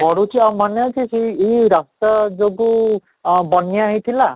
ବଢୁଛି ଆଉ ମାନେ ଅଛି ସେଇ ଏଇ ରାସ୍ତା ଯୋଗୁଁ ଆଃ ବନିଆ ହେଇଥିଲା